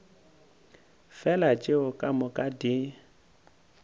fela tšeo ka moka di